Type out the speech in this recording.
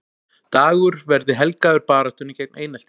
Dagur verði helgaður baráttunni gegn einelti